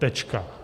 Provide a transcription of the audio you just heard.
Tečka.